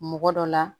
Mɔgɔ dɔ la